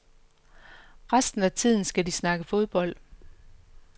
Resten af tiden skal de snakke fodbold.